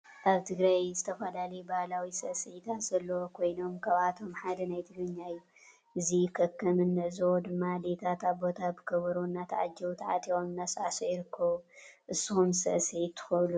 አብ ትግራይ ዝተፈላለዩ ባሀላዊ ስዕሲዕታት ዘለዎ ኮይኖም ካብአቶም ሓደ ናይ ትግረኛ እዩ። እዚም ከም እንዕዞቦ ድማ አዴታትን አቦታት ብከበሮ እናታዓጀቡ ታዓጢቆም እናሳዕሱዑ ይርከቡ። ንስኩም ስዕሲዕት ትኩእሉ ዶ?